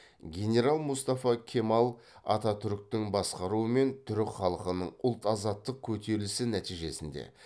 генерал мұстафа кемал ататүріктің басқаруымен түрік халқының ұлт азаттық көтерілісі нәтижесінде